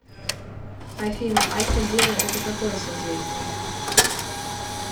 афина альфа девы это какое созвездие